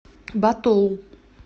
ботоу